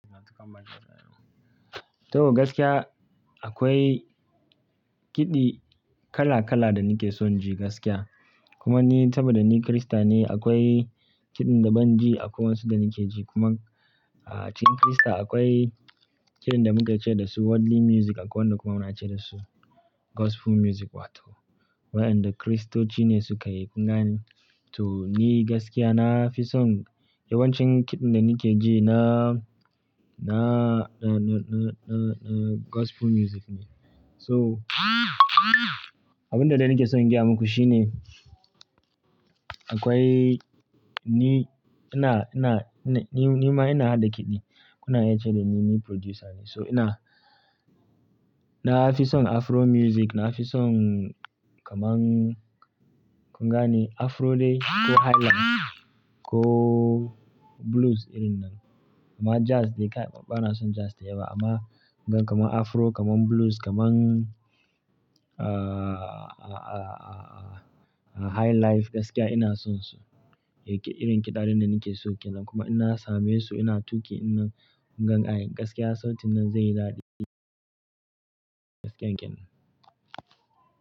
Toh gaskiya akwai kiɗi kala kala da nake son ji gaskiya. Kuma ni saboda ni Kirista ne akwai kiɗin da ban ji a kuma wasu da nake ji. Kuma a cikin Kirista akwai kiɗin da muka ce da su worldly music akwai wanda kuma muna ce da su gospel music wato wayanda Kiristoci ne suka yi. Kun gane? To ni gaskiya na fi son yawancin kiɗan da nake ji na, na, na, na, na, na gospel music ne. So abunda dai nake son in gaya muku shine akwai ni ina, ina, ni, ni ma ina haɗa kiɗi. Kuna iya ce da ni, ni producer ne. So ina, na fi son Afro music, na fi son kamar kun gane Afro dai ko highlife ko blues irin nan. Amma jazz dai bana son jazz da yawa amma gidan kamar Afro, kamar blues, kamar a, a, a, a, a highlife gaskiya ina son su. Irin kiɗa din da nake so kenan kuma in na same su ina tuƙi din nan gan. Gaskiya sautin nan zaiyi daɗi gaskiyanken.